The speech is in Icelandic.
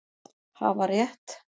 Hafa rétt